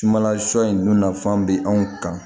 Sumala sɔ in dun nafan bɛ anw kan